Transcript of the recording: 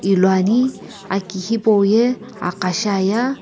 luani aki hipau ye aqa shiaya.